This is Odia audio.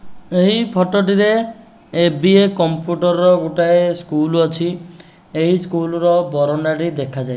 ଏହି ଫଟୋଟିରେ ଏବିଏ କମ୍ପ୍ୟୁଟରର ଗୋଟାଏ ସ୍କୁଲ୍ ଅଛି ଏହି ସ୍କୁଲର ବାରଣ୍ଡା ଟି ଦେଖାଯାଏ।